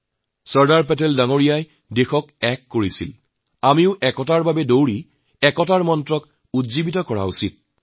চৰ্দাৰ চাহাবে দেশক একত্ৰিত কৰিছিল আমিও একতাৰ বাবে দৌৰি একতাৰ মন্ত্ৰক আগুৱাইয়ে নিয়াটো প্ৰয়োজন